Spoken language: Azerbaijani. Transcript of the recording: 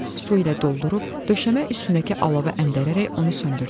Su ilə doldurub döşəmə üstündəki alova əndərərək onu söndürdüm.